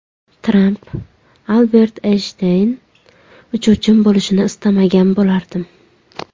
Tramp: Albert Eynshteyn uchuvchim bo‘lishini istamagan bo‘lardim.